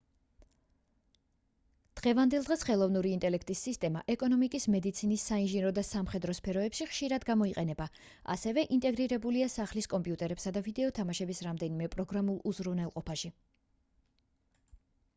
დღევანდელ დღეს ხელოვნური ინტელექტის სისტემა ეკონომიკის მედიცინის საინჟინრო და სამხედრო სფეროებში ხშირად გამოიყენება ასევე ინტეგრირებულია სახლის კომპიუტერებსა და ვიდეო თამაშების რამდენიმე პროგრამაშულ უზრუნველყოფაში